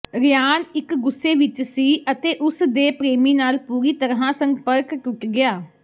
Ryan ਇੱਕ ਗੁੱਸੇ ਵਿੱਚ ਸੀ ਅਤੇ ਉਸ ਦੇ ਪ੍ਰੇਮੀ ਨਾਲ ਪੂਰੀ ਤਰ੍ਹਾਂ ਸੰਪਰਕ ਟੁੱਟ ਗਿਆ